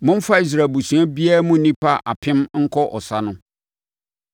Momfa Israel abusua biara mu nnipa apem nkɔ ɔsa no.”